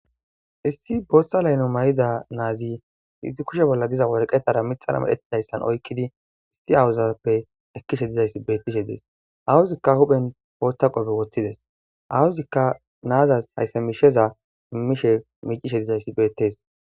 Issi booththa layno may7ida naazi izzi kushe bolla diza worqetara mithara medhetidayssan oykkidi issi awuzappe ekkishe dizayssi bettishe dees awuzikka huphen booththa qobe woththides awuzikka naazas hayssa misheza mimmishe miicishe dizayssi beettees.